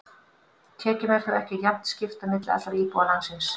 Tekjum er þó ekki jafnt skipt á milli allra íbúa landsins.